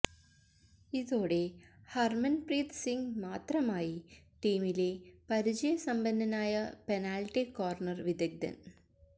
ഇതോടെ ഹര്മന്പ്രീത് സിങ് മാത്രമായി ടീമിലെ പരിചയസമ്പന്നനായ പെനാല്ട്ടി കോര്ണര് വിദഗ്ധന്